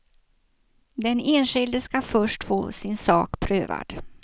Den enskilde ska först få sin sak prövad.